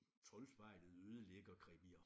Troldspejlet ødelægger krimier